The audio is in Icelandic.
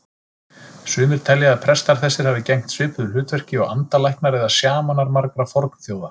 Sumir telja að prestar þessir hafi gegnt svipuðu hlutverki og andalæknar eða sjamanar margra fornþjóða.